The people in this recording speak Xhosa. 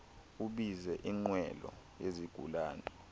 ubize inqwelo yezigulana